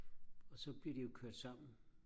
og så bliver de jo kørt sammen